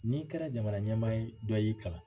N'i kɛra jamanaɲɛmaa ye dɔ de y'i kalan